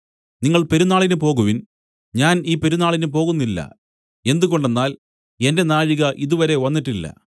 നിങ്ങൾ പെരുന്നാളിന് പോകുവിൻ ഞാൻ ഈ പെരുന്നാളിന് പോകുന്നില്ല എന്തുകൊണ്ടെന്നാൽ എന്റെ നാഴിക ഇതുവരെയും വന്നിട്ടില്ല